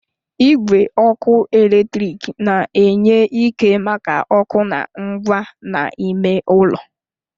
Igwe ọkụ eletrik na-enye ike maka ọkụ na ngwa n'ime ụlọ